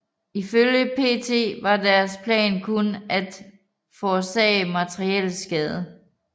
Ifølge PET var deres plan kun at forårsage materiel skade